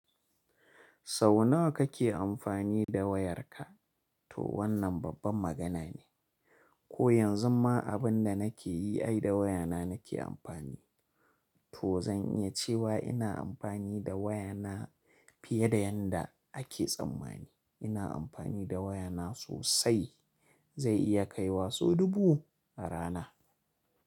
Sau nawa kake amfani da wayarka? To wannan babban magana ne. Ko yanzu ma abin da nake yi ai da wayana nake amfani. To zan iya cewa ina amfani da wayana fiye da yadda ake tsammani. Ina amfani da wayana sosai. Zai iya kai wa sau dubu a rana.